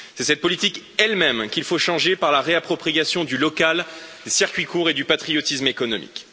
C'est cette politique elle même, qu'il faut changer par la réappropriation du local, du circuit court et du patriotisme économique.